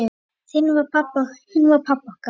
Hinn var pabbi okkar.